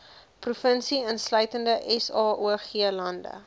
provinsie insluitende saoglande